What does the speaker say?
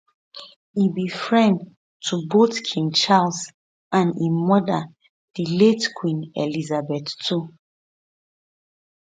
e be friend to both king charles and im mother di late queen elizabeth ii